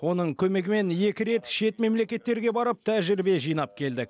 оның көмегімен екі рет шет мемлекеттерге барып тәжірибе жинап келдік